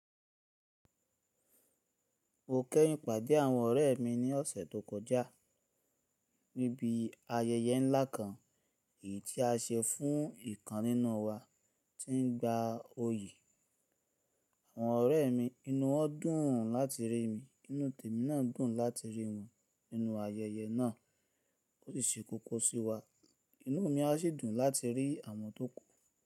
Mo kẹ́hin pàdé àwọn ọ̀rẹ́ mi ní ọ̀sẹ̀ tó kọjá, níbi ayẹyẹ ńlá kan èyí tí a ṣe fún ìkan nínú wa tí ń gba oyè. Àwọn ọ̀rẹ́ mi inú wọn dùn láti rí mi, inú tèmi náà dùn láti rí wọn nínú ayẹyẹ náà ó sì ṣe kókó sí wa. Inú mi a sì dùn láti rí àwọn tó kù.